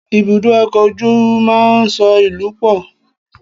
Ibùdó ọkọ̀ ojú máa ń so ìlú pọ̀